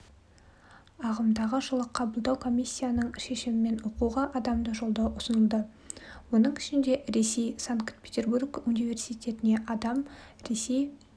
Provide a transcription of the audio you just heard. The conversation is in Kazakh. ағымдағы жылы қабылдау комиссияның шешімімен оқуға адамды жолдау ұсынылды оның ішінде ресей санкт-петербург университетіне адам ресей